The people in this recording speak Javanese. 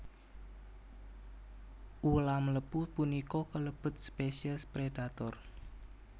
Ulam lepu punika kelebet spesies predator